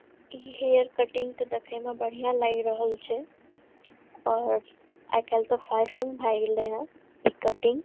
ई hair cutting ते देखे में बढ़िया लाग रहल छै और आय कल ते फ़ैशन भाय गेले हई ई कटिंग --